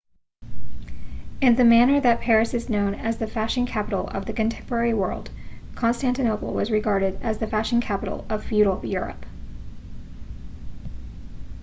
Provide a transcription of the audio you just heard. in the manner that paris is known as the fashion capital of the contemporary world constantinople was regarded as the fashion capital of feudal europe